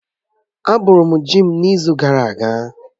Á bọrọ m ji m n'izu gara aga